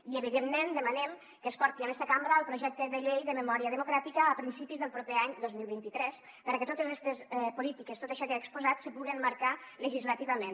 i evidentment demanem que es porti en esta cambra el projecte de llei de memòria democràtica a principis del proper any dos mil vint tres perquè totes estes polítiques tot això que hi ha exposat se puga emmarcar legislativament